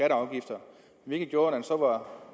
afgifter hvilket gjorde at når